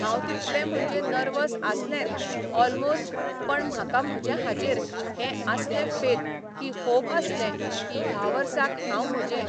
हांव तितलें म्हणजे नर्वस आसलेंत ऑलमोश्ट पण म्हाका म्हजे हाजेर हें आसलें फेथ की होप आसलें की ह्या वर्साक हांव म्हजें,